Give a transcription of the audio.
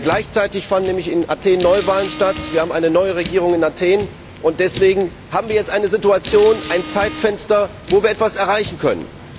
Gleichzeitig fanden nämlich in Athen Neuwahlen statt, wir haben eine neue Regierung in Athen, und deswegen haben wir jetzt eine Situation, ein Zeitfenster, wo wir etwas erreichen können.